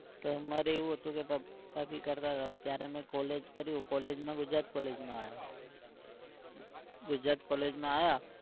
તો અમારે એવું હતું કે પાપા भी કરતા હતા ત્યારે અમે college કર્યું. college માં ગુજરાત college માં આવ્યો. ગુજરાત college માં આવ્યા